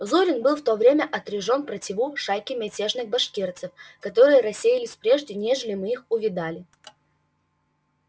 зурин был в то время отряжён противу шайки мятежных башкирцев которые рассеялись прежде нежели мы их увидали